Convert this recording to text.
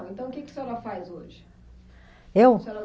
Então o que que a senhora faz hoje? Eu? O que a senhora